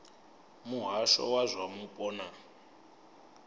muhasho wa zwa mupo na